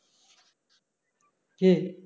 কি?